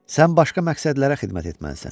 Sən başqa məqsədlərə xidmət etməlisən.